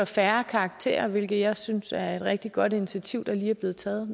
færre karakterer hvilket jeg synes er et rigtig godt initiativ der lige er blevet taget